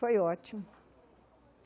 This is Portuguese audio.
Foi ótimo.